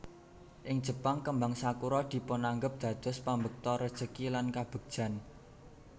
Ing Jepang kembang sakura dipunanggep dados pambekta rejeki lan kabegjan